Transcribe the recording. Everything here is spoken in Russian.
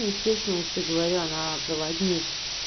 естественно я же тебе говорю она проводник